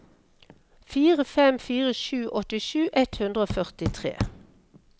fire fem fire sju åttisju ett hundre og førtitre